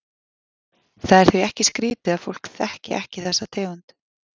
Það er því ekki skrítið að fólk þekki ekki þessa tegund.